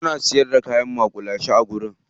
Suna siyar da kayan maƙulashe a wajen.